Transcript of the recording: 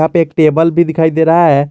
यहां पे एक टेबल भी दिखाई दे रहा है।